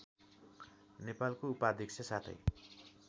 नेपालको उपाध्यक्ष साथै